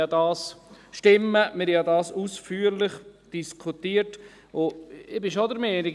Wir haben das ja ausführlich diskutiert, und ich bin schon der Meinung: